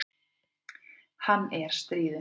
Hann er stríðinn.